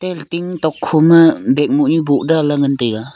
aga ting tok kho ma bag moh nyu boh dan la ngan taiga.